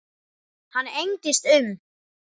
Hann engdist um.